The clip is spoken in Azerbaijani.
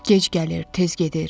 Gec gəlir, tez gedir.